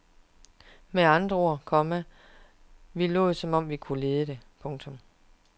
Med andre ord, komma vi lod som om vi kunne lide det. punktum